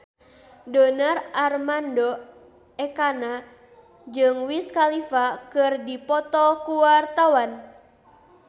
Donar Armando Ekana jeung Wiz Khalifa keur dipoto ku wartawan